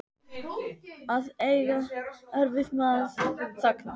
Að eiga erfitt með að þagna